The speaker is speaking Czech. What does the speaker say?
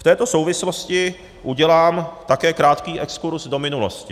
V této souvislosti udělám také krátký exkurz do minulosti.